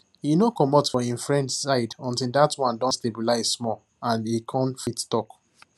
he no commot for him friend side until that one don stabilize small and e come fit talk